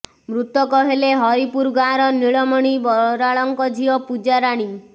ମୃତକ ହେଲେ ହରିପୁର ଗାଁ ର ନୀଳମଣି ବରାଳ ଙ୍କ ଝିଅ ପୂଜାରାଣୀ